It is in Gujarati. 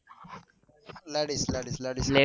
Ladies ladies ladies